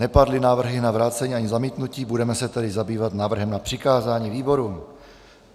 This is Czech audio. Nepadly návrhy na vrácení ani zamítnutí, budeme se tedy zabývat návrhem na přikázání výborům.